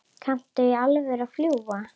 Kanntu í alvöru að fljúga?